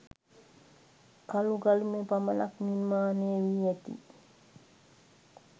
කළු ගලින්ම පමණක් නිර්මාණය වී ඇති